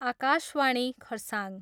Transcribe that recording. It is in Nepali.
आकाशवाणी खरसाङ।